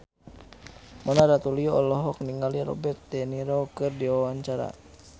Mona Ratuliu olohok ningali Robert de Niro keur diwawancara